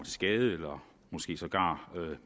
skade eller sågar